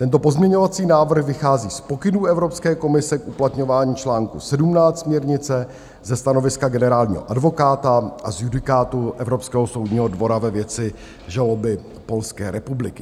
Tento pozměňovací návrh vychází z pokynů Evropské komise k uplatňování čl. 17 směrnice, ze stanoviska generálního advokáta a z judikátu Evropského soudního dvora ve věci žaloby Polské republiky.